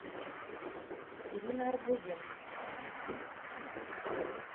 ирина арбузенко